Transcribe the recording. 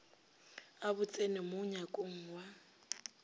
a botseno mo nyakong ya